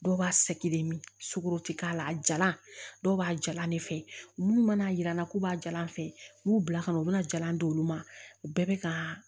Dɔw b'a sɛgelen sukaro te k'a la a jalan dɔw b'a jalan ne fɛ minnu mana yir'an na k'u b'a jalan fɛ u b'u bila ka na u bɛna jalan d'olu ma u bɛɛ bɛ ka